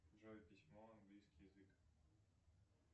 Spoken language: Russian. джой письмо английский язык